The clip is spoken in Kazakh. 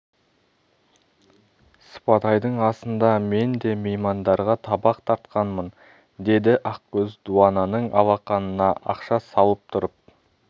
сыпатайдың асында мен де меймандарға табақ тартқанмын деді ақкөз дуананың алақанына ақша салып тұрып